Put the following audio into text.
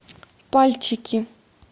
пальчики